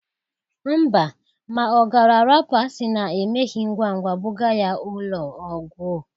Mba, ma ọ gara apụ asịna emeghi ngwa ngwa bụga ya ụlọ ọgwọ.